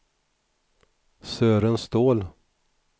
Sören Ståhl